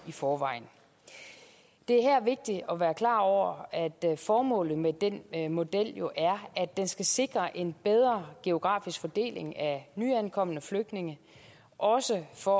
i forvejen det er her vigtigt at være klar over at formålet med den model jo er at den skal sikre en bedre geografisk fordeling af nyankomne flygtninge også for